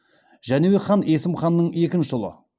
жәнібек хан есім ханның екінші ұлы